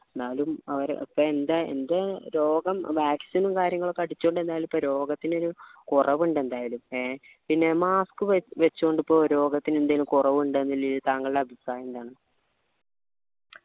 എന്നാലും അവരെ ഇപ്പൊ എൻ്റെ എൻ്റെ രോഗം vaccine ഉം കാര്യങ്ങളും ഒക്കെ അടിചോണ്ടിരുന്നാൽ ഇപ്പൊ രോഗത്തിന് ഒരു കുറവ് ഇണ്ട് എന്തായാലും ഏർ പിന്നെ mask വെച്ചോണ്ട് ഇപ്പൊ രോഗത്തിന് എന്തേലും കുറവ് ഇണ്ടോ ഇല്ലയോന്നതിൽ തങ്ങളുടെ അഭിപ്രായം എന്താ